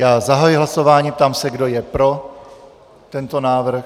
Já zahajuji hlasování, ptám se, kdo je pro tento návrh.